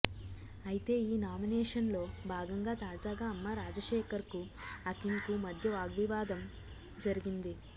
అయితే ఈనామినేషన్ లో భాగంగా తాజాగా అమ్మ రాజశేఖర్ కు అఖిల్ కు మధ్య వాగ్వివాదం జరిగింది